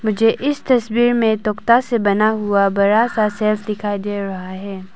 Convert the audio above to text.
मुझे इस तस्वीर में तोक्ता से बना हुआ बड़ा सा शेल्फ दिखाई दे रहा है।